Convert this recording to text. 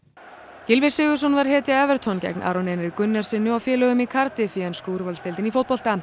Gylfi Sigurðsson var hetja gegn Aroni Einari Gunnarssyni og félögum í Cardiff í ensku úrvalsdeildinni í fótbolta